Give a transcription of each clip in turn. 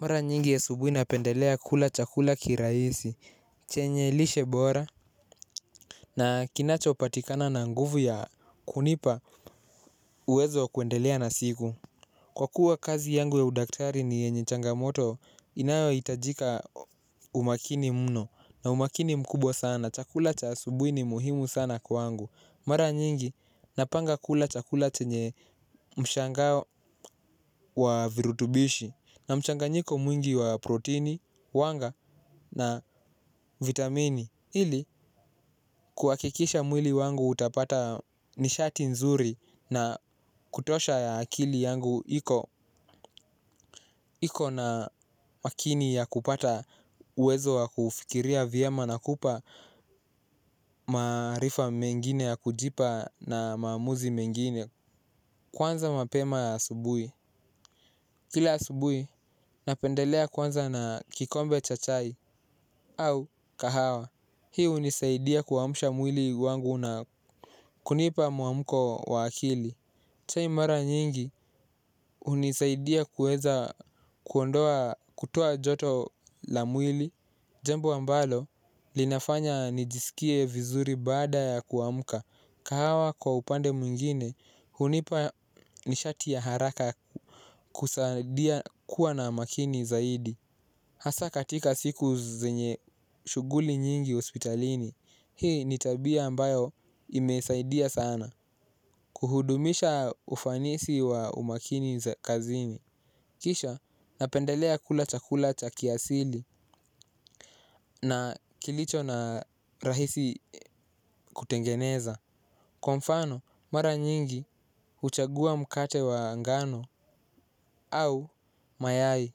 Mara nyingi asubuhi napendelea kula chakula kirahisi chenye lishe bora. Na kinacho patikana na nguvu ya kunipa uwezo wa kuendelea na siku. Kwa kuwa kazi yangu ya udaktari ni yenye changamoto inayo hitajika umakini mno na umakini mkubwa sana chakula cha asubuhi ni muhimu sana kwa wangu. Mara nyingi napanga kula chakula chenye mshangao wa virutubishi. Na mshanganyiko mwingi wa protini, wanga na vitamini. Hili kuhakikisha mwili wangu utapata nishati nzuri na kutosha ya akili yangu iko. Iko na makini ya kupata uwezo wa kufikiria vyema na kupa maarifa mengine ya kujipa na maamuzi mengine. Kwanza mapema ya asubuhi kila asubuhi napendelea kwanza na kikombe cha chai au kahawa. Hii hunisaidia kuamsha mwili wangu na kunipa mwamko wa akili. Chai mara nyingi hunisaidia kuweza kuondoa kutoa joto la mwili. Jambo ambalo linafanya nijisikie vizuri baada ya kuamka. Kahawa kwa upande mwingine hunipa nishati ya haraka. Kusaidia kuwa na makini zaidi hasaa katika siku zinye shughuli nyingi hospitalini. Hii ni tabia ambayo imesaidia sana. Kuhudumisha ufanisi wa umakini za kazini. Kisha napendelea kula chakula cha kiasili. Na kilicho na rahisi kutengeneza kwa mfano mara nyingi huchagua mkate wa ngano. Au mayai.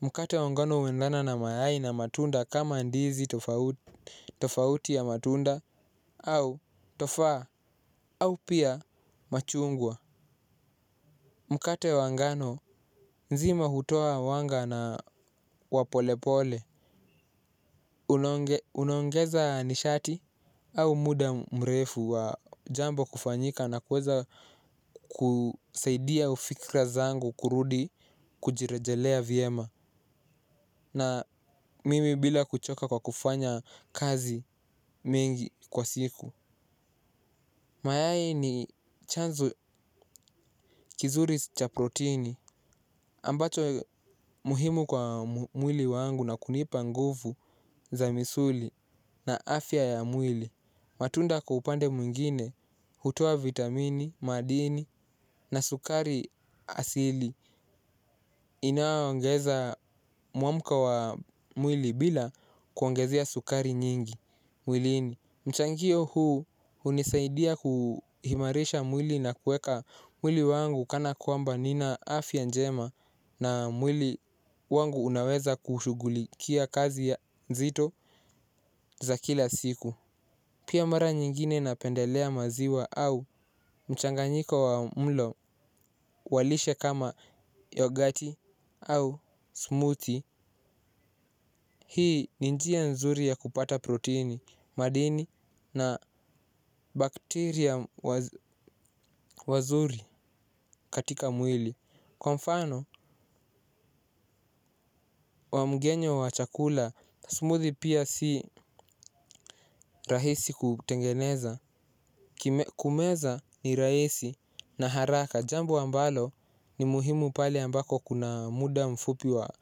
Mkate wa ngano huendana na mayai na matunda kama ndizi tofauti tofauti ya matunda. Au tofa au pia machungwa. Mkate wa ngano nzima hutoa wanga na wa polepole. Unaongeza nishati au muda mrefu wa jambo kufanyika na kuweza kusaidia fikra zangu kurudi kujirejelea vyema. Na mimi bila kuchoka kwa kufanya kazi mingi kwa siku. Mayai ni chanzo kizuri cha protini ambacho muhimu kwa mwili wangu na kunipa nguvu za misuli na afya ya mwili. Matunda kwa upande mwingine, hutoa vitamini, madini na sukari asili. Inayo ongeza muamko wa mwili bila kuongeza sukari nyingi mwilini. Mchangio huu hunisaidia kuimarisha mwili na kuweka mwili wangu kana kwamba nina afya njema na mwili wangu unaweza kushugulikia kazi ya nzito za kila siku. Pia mara nyingine napendelea maziwa au mchanganyiko wa mlo wa lishe kama yogati au smothi. Hii ni njia nzuri ya kupata protini, madini na bakteria wazuri katika mwili. Kwa mfano, wa mgenyo wa chakula, smuthi pia si rahisi kutengeneza. Kumeza ni rahisi na haraka. Jambo ambalo ni muhimu pale ambapo kuna muda mfupi wa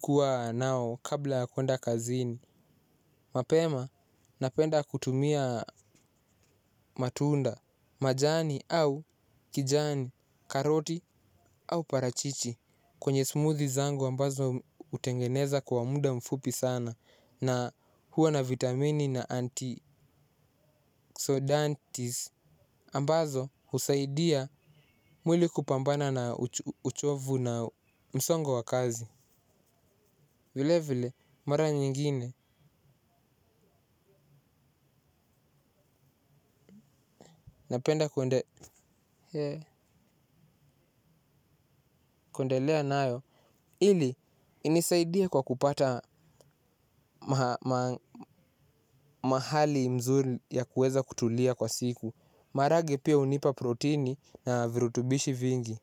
kuwa nao kabla kwenda kazini. Mapema, napenda kutumia matunda. Majani au kijani, karoti au parachichi. Kwenye smuthi zangu ambazo hutengeneza kwa muda mfupi sana. Na huwa na vitamini na anti-sodantis ambazo husaidia mwili kupambana na uchovu na msongo wa kazi. Vile vile mara nyingine napenda kuendelea nayo ili, inisaidie kwa kupata mahali nzuri ya kuweza kutulia kwa siku. Maragwe pia hunipa protini na virutubishi vingi.